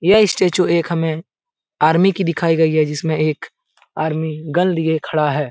यह स्टैचू एक हमें आर्मी की दिखाई गयी है जिसमे एक आर्मी गन लिए खड़ा है ।